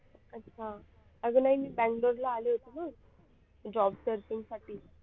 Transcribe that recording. अच्छा अगर नाही मी बंगलोरला आले होते ना job searching साठी